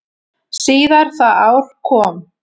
Síðar það ár kom